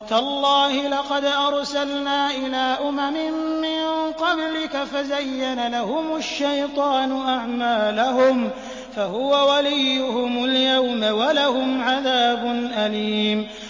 تَاللَّهِ لَقَدْ أَرْسَلْنَا إِلَىٰ أُمَمٍ مِّن قَبْلِكَ فَزَيَّنَ لَهُمُ الشَّيْطَانُ أَعْمَالَهُمْ فَهُوَ وَلِيُّهُمُ الْيَوْمَ وَلَهُمْ عَذَابٌ أَلِيمٌ